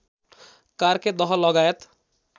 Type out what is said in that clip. कार्के दह लगायत